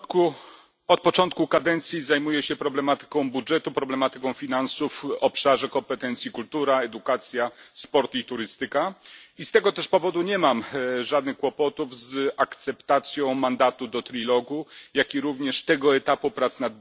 Od początku kadencji zajmuję się problematyką budżetu, problematyką finansów w obszarze kompetencji kultura, edukacja, sport i turystyka, i z tego też powodu nie mam żadnych kłopotów z akceptacją mandatu do rozmów trójstronnych, jak i również tego etapu prac nad budżetem.